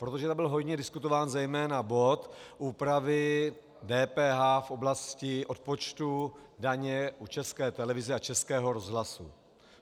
Protože tam byl hojně diskutován zejména bod úpravy DPH v oblasti odpočtu daně u České televize a Českého rozhlasu.